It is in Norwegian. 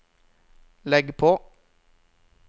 legg på